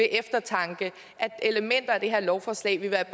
eftertanke at elementer af det her lovforslag vil være